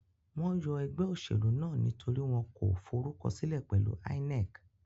Wọ́n yọ ẹgbẹ́ òṣèlú náà nítorí wọn kò forúkọsílẹ̀ pẹ̀lu INEC.